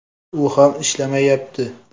U ham ishlamayapti.